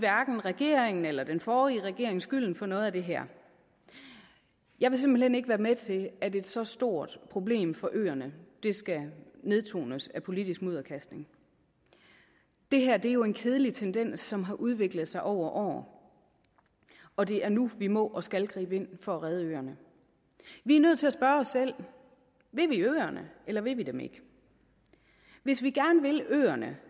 regeringen eller den forrige regering skylden for noget af det her jeg vil simpelt hen ikke være med til at et så stort problem for øerne skal nedtones af politisk mudderkastning det her er jo en kedelig tendens som har udviklet sig over år og det er nu vi må og skal gribe ind for at redde øerne vi er nødt til at spørge os selv vil vi øerne eller vil vi dem ikke hvis vi gerne vil øerne